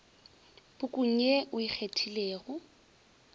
pukung ye o e kgethilego